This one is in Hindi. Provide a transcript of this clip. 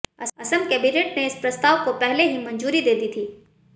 असम कैबिनेट ने इस प्रस्ताव को पहले ही मंजूरी दे दी थी